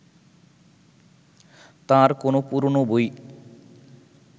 তাঁর কোনো পুরোনো বই